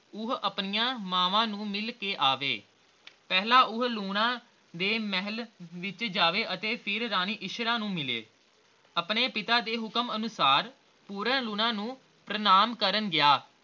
ਉਹ ਆਪਣੀਆਂ ਮਾਵਾਂ ਨੂੰ ਮਿਲ ਕੇ ਆਵੇ ਪਹਿਲਾ ਉਹ ਲੂਣਾ ਦੇ ਮਹਿਲ ਵਿਚ ਜਾਵੇ ਅਤੇ ਫਿਰ ਰਾਣੀ ਇੱਛਰਾਂ ਨੂੰ ਮਿਲੇ ਆਪਣੇ ਪਿਤਾ ਦੇ ਹੁਕਮ ਅਨੁਸਾਰ ਪੂਰਨ ਲੂਣਾ ਨੂੰ ਪ੍ਰਣਾਮ ਕਰਨ ਗਿਆ